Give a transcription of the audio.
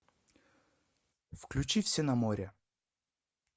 включи все на море